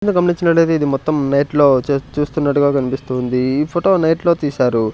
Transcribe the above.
మీరు గమనించినట్లు అయితే ఇది మొత్తం నైట్లో చ చూస్తున్నట్టుగా కనిపిస్తోంది ఈ ఫోటో నైట్లో తీశారు.